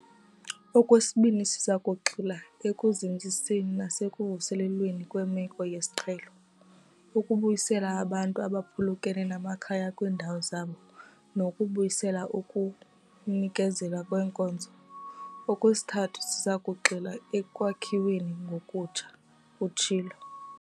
"Okwesibini, siza kugxila ekuzinziseni nasekuvuselelweni kwemeko yesiqhelo, ukubuyisela abantu abaphulukene namakhaya kwiindawo zabo nokubuyisela ukunikezelwa kweenkonzo. Okwesithathu, siza kugxila ekwakhiweni ngokutsha," utshilo.